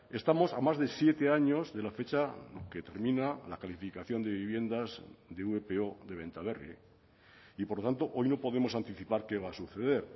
estamos a más de siete años de la fecha que termina la calificación de viviendas de vpo de bentaberri y por lo tanto hoy no podemos anticipar qué va a suceder